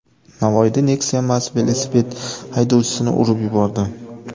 Navoiyda Nexia mast velosiped haydovchisini urib yubordi.